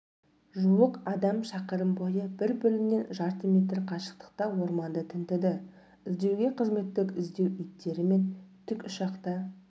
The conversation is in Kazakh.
жуық адам шақырым бойы бір-бірінен жарты метр қашықтықта орманды тінтіді іздеуге қызметтік-іздеу иттері мен тікұшақ та